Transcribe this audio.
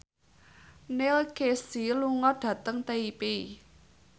Neil Casey lunga dhateng Taipei